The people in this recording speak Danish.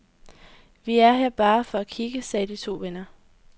Vi er her bare for at kigge, sagde de to venner.